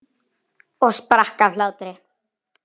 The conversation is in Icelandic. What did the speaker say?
Og sprakk af hlátri.